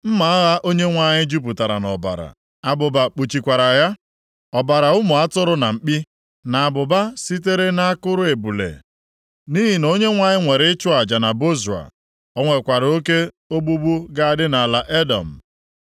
Mma agha Onyenwe anyị jupụtara nʼọbara, abụba kpuchikwara ya, ọbara ụmụ atụrụ na mkpi na abụba sitere nʼakụrụ ebule nʼihi na Onyenwe anyị nwere ịchụ aja na Bozra. O nwekwara oke ogbugbu ga-adị nʼala Edọm.